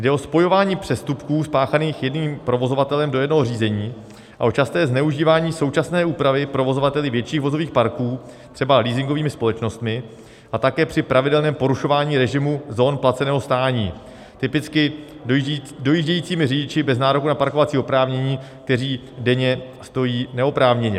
Jde o spojování přestupků spáchaných jedním provozovatelem do jednoho řízení a o časté zneužívání současné úpravy provozovateli větších vozových parků, třeba leasingovými společnostmi, a také při pravidelném porušování režimu zón placeného stání, typicky dojíždějícími řidiči bez nároku na parkovací oprávnění, kteří denně stojí neoprávněně.